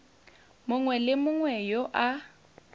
mongwe le mongwe yo a